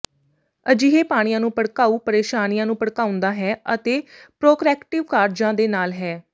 ਅਜਿਹੇ ਪਾਣੀਆਂ ਨੂੰ ਭੜਕਾਊ ਪ੍ਰੇਸ਼ਾਨੀਆਂ ਨੂੰ ਭੜਕਾਉਂਦਾ ਹੈ ਅਤੇ ਪੋਰਕ੍ਰੈਕਟਿਵ ਕਾਰਜਾਂ ਦੇ ਨਾਲ ਹੈ